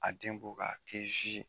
A den bɔ ka a kɛ ye.